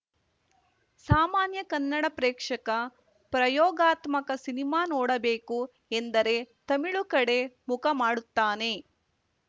ಸಾಮಾನ್ಯ ಕನ್ನಡ ಪ್ರೇಕ್ಷಕ ಪ್ರಯೋಗಾತ್ಮಕ ಸಿನಿಮಾ ನೋಡಬೇಕು ಎಂದರೆ ತಮಿಳು ಕಡೆ ಮುಖ ಮಾಡುತ್ತಾನೆ